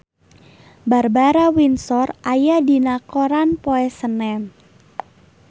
Barbara Windsor aya dina koran poe Senen